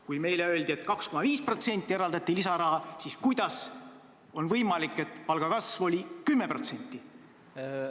Kui meile öeldi, et 2,5%-seks tõusuks eraldati lisaraha, siis kuidas on võimalik, et palgakasv oli 10%?